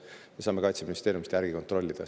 Me saame Kaitseministeeriumist kontrollida.